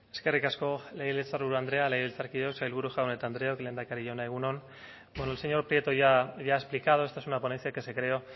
eskerrik asko legebiltzarburu andrea sailburu jaun andreok lehendakari jauna egun on bueno el señor prieto ya ha explicado esta es una ponencia que se creó